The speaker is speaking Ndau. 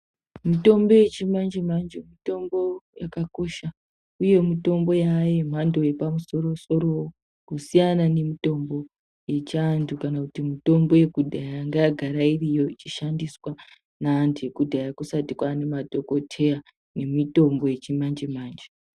Mitombo yechi manje manje mitombo yakakosha uyee mitombo yaa yemhando yepamusoro soro kusiyana nemitombo yechi andu kana kuti mitombo yekudhaya yanga yagara iri Yoo ichishandiswa nevandu ekudhaya kusati kwaane madhokoteya nemitombo yechi manje manje.